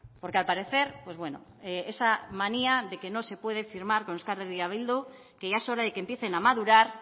porque al parecer pues bueno esa manía de que no se puede firmar con euskal herria bildu que ya es hora de que empiecen a madurar